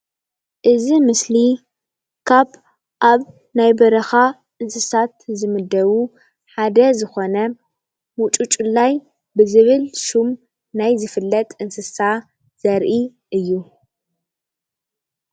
እዚ ምስሊ ካብ አብ ናይ በርካ እንስሳት ዝምደቡ ሓደ ዝኮነ ሙጩጭላይ ብዝብል ሹም ናይ ዝፍለጥ እንስሳ ዘርኢ እዩ፡፡